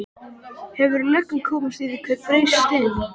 Hefur löggan komist að því hver braust inn?